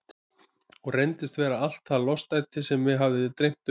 Hún reyndist vera allt það lostæti sem mig hafði dreymt um.